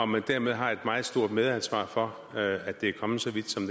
man dermed har et meget stort medansvar for at det er kommet så vidt som